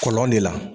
Kɔlɔn de la